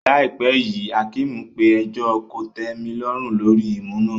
Láìpẹ́ yìí, Hakeem pe ẹjọ́ kòtẹ́milọ́rùn lórí ìmú náà.